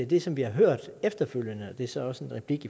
det som vi har hørt efterfølgende og det er så også en replik